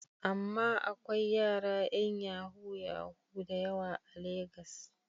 Amma akwain yara yan yahu-yahu da yawa a Logan.